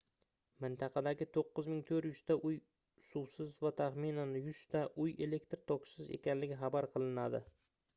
mintaqadagi 9400 ta uy suvsiz va taxminan 100 ta uy elektr tokisiz ekanligi xabar qilinadi